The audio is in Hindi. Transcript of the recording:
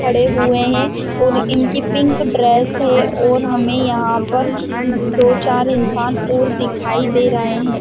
खड़े हुए है और इनकी पिंक ड्रेस है और हमे यहाँ दो चार इंसान और दिखाई दे रहै है ।